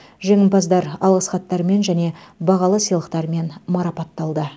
жеңімпаздар алғыс хаттармен және бағалы сыйлықтармен марапатталды